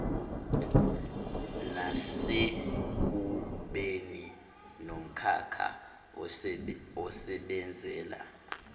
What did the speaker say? nasekubeni nomkhakha osebenzela